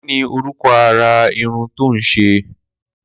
Kini órùkọ̀ àrà irùn tó n ṣé?